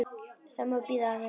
Það má bíða aðeins.